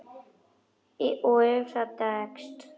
Og ef það dregst.